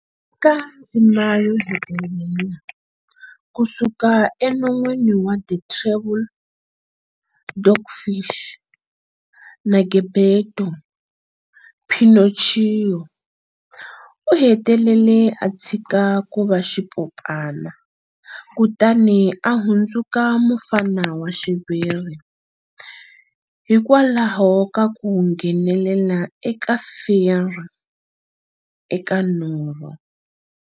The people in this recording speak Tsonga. Eka ndzima yo hetelela, kusuka enon'wini wa The Terrible Dogfish na Geppetto, Pinocchio u hetelele a tshika kuva xipopana kutani a hundzuka mufana wa xiviri hikwalaho ka ku nghenelela ka Fairy eka norho.